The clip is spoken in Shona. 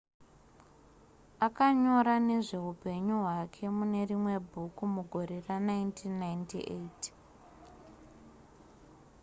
akanyora nezveupenyu hwake mune rimwe bhuku mugore ra1998